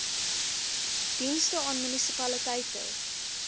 dienste aan munisipaliteite